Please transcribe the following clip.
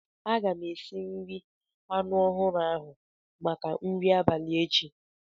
Aga m esi nri anu ahuru ahu maka nri abalị echi.